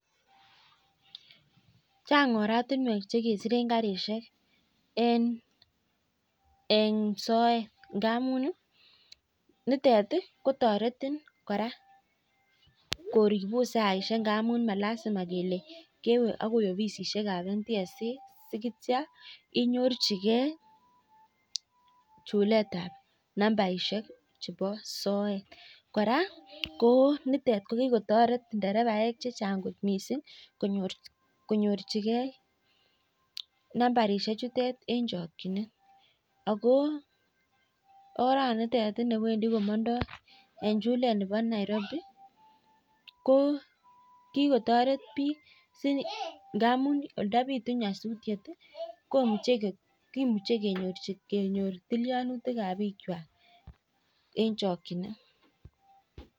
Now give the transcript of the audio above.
Chan'g oratinwek che kesiren karishek. En soet ngamun nitet kotoretin kora koripun saishek ngamun malasima kele kewe akoi ofisisiekab NTSA sikitio inyorchigei chuletab nabaishek chebo soet. Kora nitet ko kikotoret terevaishek chechan'g kot mising konyorchigei nambarishek chutet eng chokchinet. Akooranitet newendi komandoi eng chulet nebo Nairobi ko kikotoret biik ngamun ndapitu nyasuti kemuchei kenyor tilianutikab biikwai eng chokchinet.